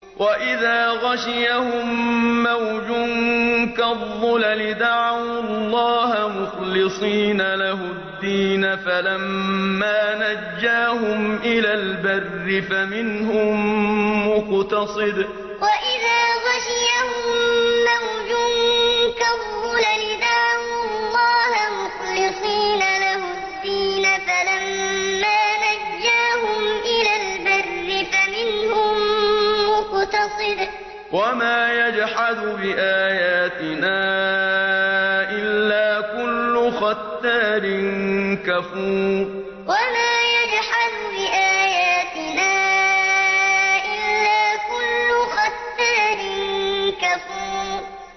وَإِذَا غَشِيَهُم مَّوْجٌ كَالظُّلَلِ دَعَوُا اللَّهَ مُخْلِصِينَ لَهُ الدِّينَ فَلَمَّا نَجَّاهُمْ إِلَى الْبَرِّ فَمِنْهُم مُّقْتَصِدٌ ۚ وَمَا يَجْحَدُ بِآيَاتِنَا إِلَّا كُلُّ خَتَّارٍ كَفُورٍ وَإِذَا غَشِيَهُم مَّوْجٌ كَالظُّلَلِ دَعَوُا اللَّهَ مُخْلِصِينَ لَهُ الدِّينَ فَلَمَّا نَجَّاهُمْ إِلَى الْبَرِّ فَمِنْهُم مُّقْتَصِدٌ ۚ وَمَا يَجْحَدُ بِآيَاتِنَا إِلَّا كُلُّ خَتَّارٍ كَفُورٍ